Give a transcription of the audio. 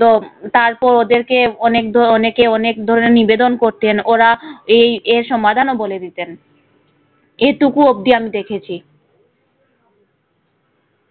তো তারপর ওদেরকে অনেক ধর~ অনেকে অনেক ধরনের নিবেদন করতেন ওরা এই এর সমাধানও বলে দিতেন। এইটুকু অবধি আমি দেখেছি।